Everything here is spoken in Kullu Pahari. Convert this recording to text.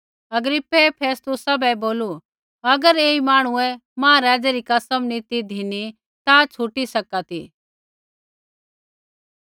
अग्रिप्पै फेस्तुसा बै बोलू अगर ऐई मांहणुऐ महाराज़ै री कसम नी ती धिनी ता छ़ुटी सका ती